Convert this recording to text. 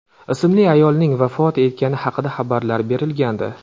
ismli ayolning vafot etgani haqida xabarlar berilgandi.